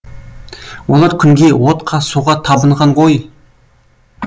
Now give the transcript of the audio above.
олар күнге отқа суға табынған ғой